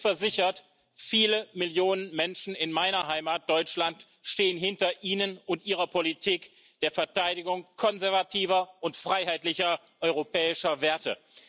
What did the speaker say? Seien Sie versichert Viele Millionen Menschen in meiner Heimat Deutschland stehen hinter Ihnen und Ihrer Politik der Verteidigung konservativer und freiheitlicher europäischer Werte.